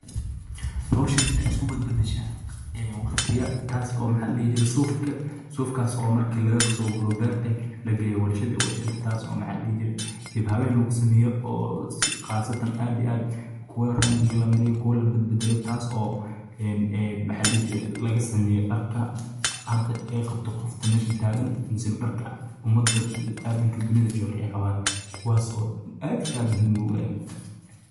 hawshan ay isku badbashaa ee waqtiya taas oo maxalmey jiray suufka suufkaas oo markii laga soo guray beertay la geeyo warshada warshada taas oo maxa la dihi jiray dib habeen lagu sameeyo oo qaasatan aad iyo aad kuwa raangiga la mariyay kuwa la bad-badalo taas oo een een maxa la dihi jray laga sameeyo dharka cadda ee qabto qofka meesha taagan aysan dharka ummadda aadanka dunida jooga ay qabaan kuwaas oo aada iyo aada muhiim u ah.